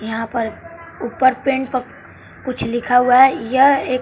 यहां पर ऊपर पेंट प कुछ लिखा हुआ है यह एक--